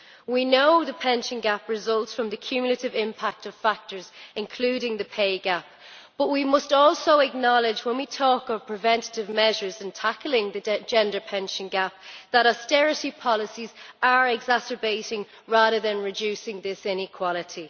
We know the pension gap results from the cumulative impact of factors, including the pay gap, but we must also acknowledge when we talk of preventative measures and tackling the gender pension gap that austerity policies are exacerbating, rather than reducing, this inequality.